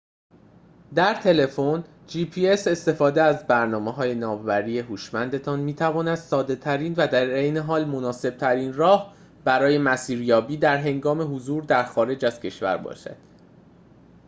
استفاده از برنامه‌های ناوبری gps در تلفن هوشمندتان می‌تواند ساده‌ترین و در عین حال مناسب‌ترین راه برای مسیریابی در هنگام حضور در خارج از کشور باشد